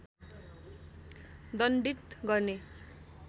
दण्डित गर्ने